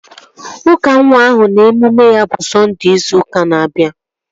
Ụka nwa ahụ na emume ya bụ Sọnde ịzu ụka na-abịa